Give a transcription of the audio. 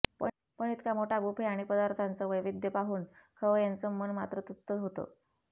पण इतका मोठा बुफे आणि पदार्थांचं वैविध्य पाहून खवय्यांचं मन मात्र तृप्त होतं